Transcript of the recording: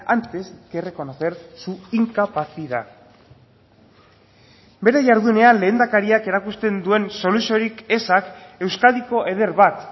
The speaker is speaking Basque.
antes que reconocer su incapacidad bere jardunean lehendakariak erakusten duen soluziorik ezak euskadiko eder bat